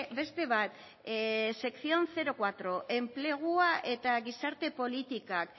beste bat sección lau enplegua eta gizarte politikak